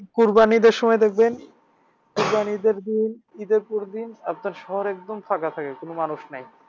কোরবানীর ঈদের সময় দেখবেন কোরবানীর ঈদের দিন ঈদের পরের দিন আপনার শহর একদম ফাঁকা থাকে একদম মানুষ নাই।